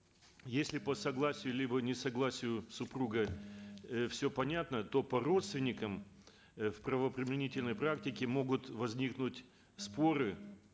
если по согласию либо несогласию супруга э все понятно то по родственникам э в правоприменительной практике могут возникнуть споры